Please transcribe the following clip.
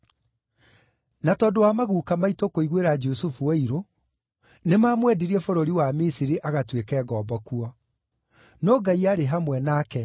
“Na tondũ wa maguuka maitũ kũiguĩra Jusufu ũiru, nĩmamwendirie bũrũri wa Misiri agatuĩke ngombo kuo. No Ngai aarĩ hamwe nake